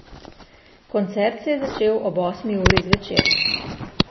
Koncert se je začel ob osmi uri zvečer.